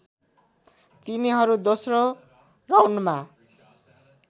तिनीहरू दोस्रो राउन्डमा